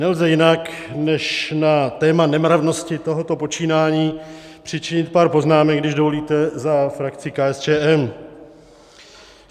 Nelze jinak, než na téma nemravnosti tohoto počínání přičinit pár poznámek, když dovolíte, za frakci KSČM.